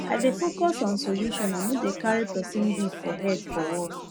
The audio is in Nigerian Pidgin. i dey focus on solution i no dey carry person beef for head for work